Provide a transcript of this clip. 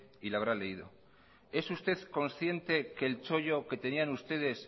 y la habrá leído es usted consciente que el chollo que tenían ustedes